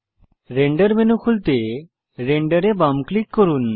render menu খুলতে render এ বাম ক্লিক করুন